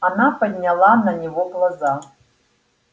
она подняла на него глаза